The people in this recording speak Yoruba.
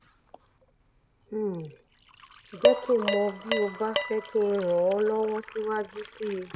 um jẹ́ kí n mọ̀ bí o bá fẹ́ kí n ràn ọ́ lọ́wọ́ síwájú sí i